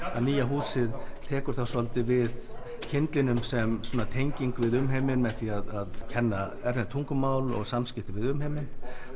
nýja húsið tekur þá svolítið við kyndlinum sem tenging við umheiminn með því að kenna erlend tungumál og samskipti við umheiminn